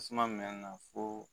Tasuma mɛn na fo